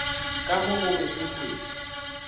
ka mo gobe e wetšwa